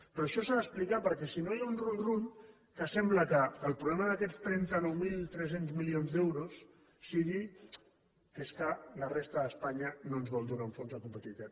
però això s’ha d’explicar perquè si no hi ha un runrúnque el problema d’aquests trenta nou mil tres cents milions d’euros sigui que és que la resta d’espanya no ens vol donar un fons de competitivitat